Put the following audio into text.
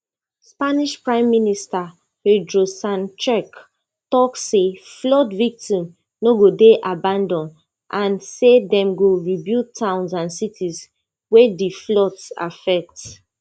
spanish prime minister pedro sanchez tok say flood victims no go dey abanAcceptedd and say dem go rebuild towns and cities wey di floods affect